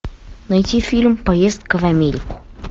найти фильм поездка в америку